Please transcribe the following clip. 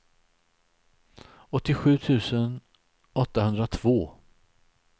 åttiosju tusen åttahundratvå